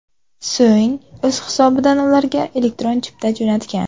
So‘ng o‘z hisobidan ularga elektron chipta jo‘natgan.